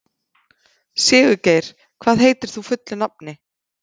Sigurgeir, hvað heitir þú fullu nafni?